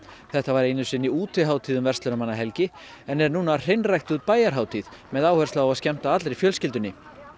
þetta var einu sinni útihátíð um verslunarmannahelgi en er núna hreinræktuð bæjarhátíð með áherslu á að skemmta allri fjölskyldunni